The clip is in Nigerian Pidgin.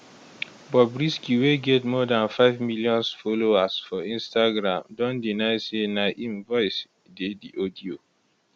bobrisky wey get more dan five millions followers for instagram don deny say na im voice dey di audio